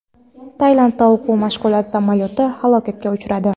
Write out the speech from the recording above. Tailandda o‘quv-mashg‘ulot samolyoti halokatga uchradi.